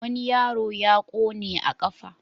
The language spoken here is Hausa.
Wani yaro ya ƙone a ƙafa.